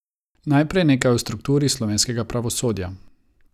Najprej nekaj o strukturi slovenskega pravosodja.